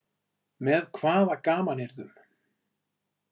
Með hvaða gamanyrðum?